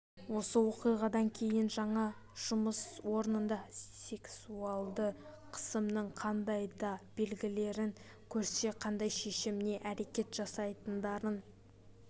осы оқиғадан кейін олар жаңа жұмыс орнында сексуалды қысымның қандай да белгілерін көрсе қандай шешім не әрекет жасайтындарын